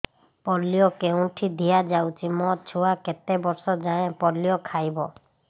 polio କେଉଁଠି ଦିଆଯାଉଛି ମୋ ଛୁଆ କେତେ ବର୍ଷ ଯାଏଁ ପୋଲିଓ ଖାଇବ